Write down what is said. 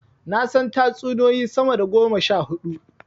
Na san tatsuniyoyi sama da goma sha huɗu.